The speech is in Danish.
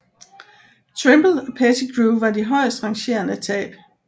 Trimble og Pettigrew var de højestrangerende tab